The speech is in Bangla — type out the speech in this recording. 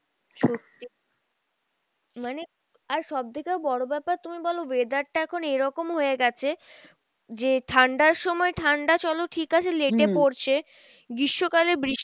সত্যি মানে আর সবথেকেও বড় ব্যাপার তুমি বলো weather টা এখন এরকম হয়ে গেছে যে ঠান্ডার সময় ঠাণ্ডা চলো ঠিক আছে late এ পরছে, গ্রীষ্মকালে